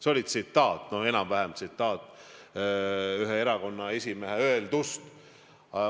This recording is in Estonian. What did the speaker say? See oli tsitaat, selline on enam-vähem tsitaat ühe erakonna esimehe öeldust.